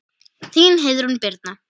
Þín Heiðrún Birna.